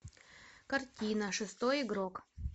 картина шестой игрок